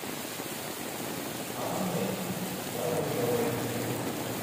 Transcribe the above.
анной давыдовой